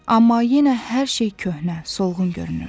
Amma yenə hər şey köhnə, solğun görünürdü.